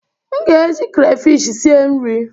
M ga-eji krafish sie nri.